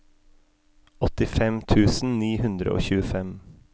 åttifem tusen ni hundre og tjuefem